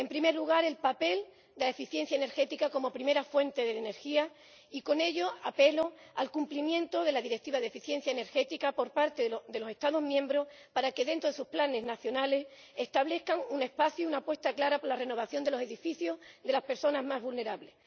En primer lugar, el papel de la eficiencia energética como primera fuente de energía, y con ello apelo al cumplimiento de la Directiva de eficiencia energética por parte de los Estados miembros, para que dentro de sus planes nacionales establezcan un espacio, una apuesta clara, por la renovación de los edificios de las personas más vulnerables.